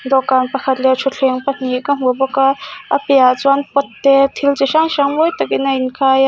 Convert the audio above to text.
dawhkan pakhat leh thutthleng pahnih ka hmu bawk a a piahah chuan pot te thil chi hrang hrang mawi takin a in khai --